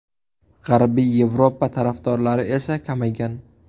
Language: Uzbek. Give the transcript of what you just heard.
G‘arbiy Yevropa tarafdorlari esa kamaygan.